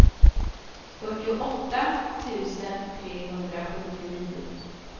fyrtioåtta tusen trehundrasjuttionio